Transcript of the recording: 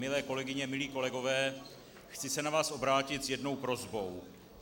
Milé kolegyně, milí kolegové, chci se na vás obrátit s jednou prosbou.